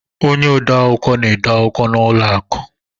Ọnye ọde akwụkwọ na-ede akwụkwọ n' ụlọ akụ